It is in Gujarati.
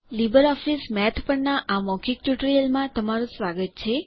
લીબર ઓફીસ મેથ પરનાં આ મૌખિક ટ્યુટોરીયલમાં તમારું સ્વાગત છે